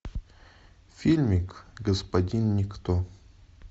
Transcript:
фильмик господин никто